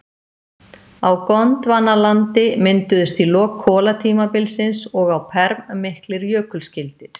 Á Gondvanalandi mynduðust í lok kolatímabilsins og á perm miklir jökulskildir.